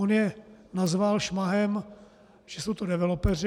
On je nazval šmahem, že jsou to developeři.